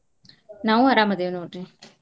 ನಾವು ಅರಾಮ್ ಅದೇವ್ ನೋಡ್ರಿ.